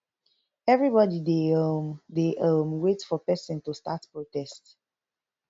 everybody dey um dey um wait for pesin to start protest